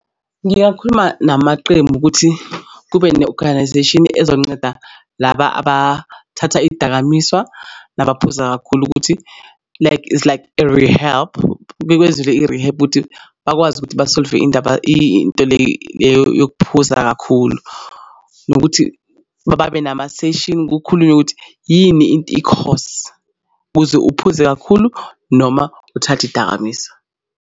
Ngingakhuluma namaqembu ukuthi kube ne-organisation ezonceda laba abathatha iy'dakamizwa nabaphuza kakhulu ukuthi like it's like a rehab bekwenzele i-rehab ukuthi bakwazi ukuthi ba-solve-e indaba into leyo yokuphuza kakhulu nokuthi babe namaseshini kukhulunywe ukuthi yini into i-cause ukuze uphuze kakhulu noma uthathe idakamizwa.